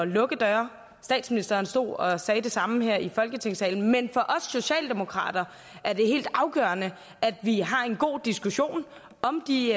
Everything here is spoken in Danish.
lukke døre statsministeren stod og sagde det samme her i folketingssalen men for os socialdemokrater er det helt afgørende at vi har en god diskussion om de